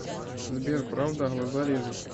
сбер правда глаза режет